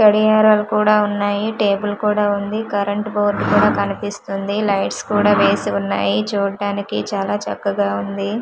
గడియారాలు కూడా వున్నాయి టేబుల్ కూడ వుంది కరెంట్ బోర్డు కూడ కనిపిస్తుంది లైట్స్ కూడ వేసి వున్నాయి చూడ్డానికి చాలా చక్కగా వుంది.